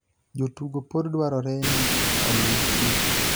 jotugo pod dwarore ni oluw chike